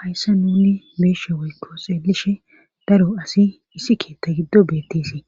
Hayssa nuni beeshe woykko seelishe daro asi issi keetta giddo beettesi